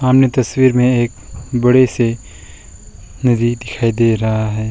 सामने तस्वीर में एक बड़े से नदी दिखाई दे रहा है।